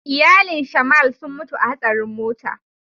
Iyalin "shamal" sun mutu a hasarin mota.